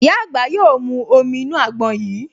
Ìyá àgbà yóò mú omi inú àgbọn yìí